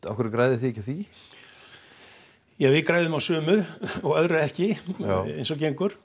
af hverju græðið þið ekki á því ja við græðum á sumu og öðru ekki eins og gengur